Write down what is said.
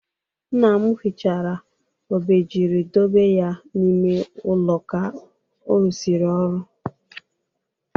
Nna m hichara obejiri dobe ya n'ime ụlọ ka ọ rụsịrị ọrụ.